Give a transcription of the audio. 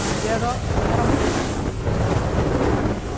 Mas era muito tranquilo.